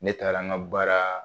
Ne taara an ka baara